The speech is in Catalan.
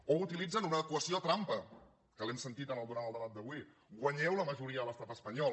o utilitzen una equació trampa que l’hem sentit durant el debat d’avui guanyeu la majoria a l’estat espanyol